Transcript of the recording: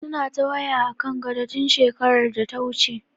Suna ta waya akan gado, tun shekarar data wuce.